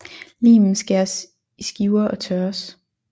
Limen skæres i skiver og tørres